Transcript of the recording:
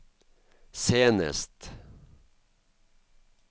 senest